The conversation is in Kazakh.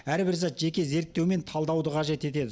әрбір зат жеке зерттеу мен талдауды қажет етеді